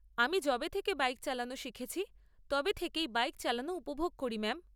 আমি যবে থেকে বাইক চালানো শিখেছি তবে থেকেই বাইক চালানো উপভোগ করি ম্যাম।